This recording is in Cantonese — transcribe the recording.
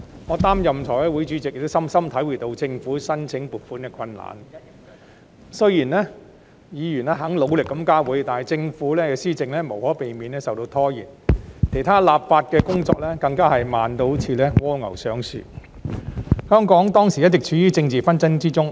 我擔任財務委員會主席，深深體會到政府申請撥款的困難，雖然議員肯努力加會，但政府施政無可避免受到拖延，其他立法工作更加慢得像蝸牛上樹般，當時香港一直處於政治紛爭之中。